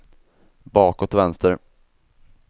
bakåt vänster